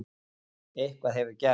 Eitthvað hefur gerst.